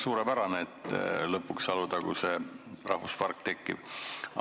Suurepärane, et lõpuks Alutaguse rahvuspark tekib.